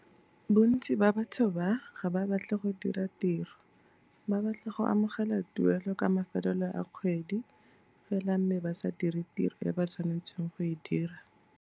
Bontsi ba batho ba, ga ba batle go dira tiro, ba batla go amogela tuelo ka mafelelo a kgwedi fela mme ba sa dire tiro e ba tshwanetseng go e dira.